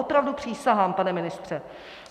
Opravdu, přísahám, pane ministře.